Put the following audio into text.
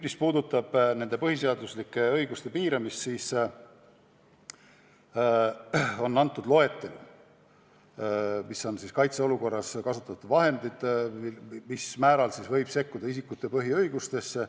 Mis puudutab põhiseaduslike õiguste piiramist, siis on antud loetelu, mis on kaitseolukorras kasutatavad vahendid, mil määral võib sekkuda isikute põhiõigustesse.